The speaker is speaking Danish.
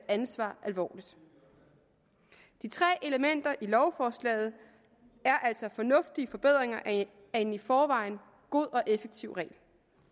ansvar alvorligt de tre elementer i lovforslaget er altså fornuftige forbedringer af en i forvejen god og effektiv regel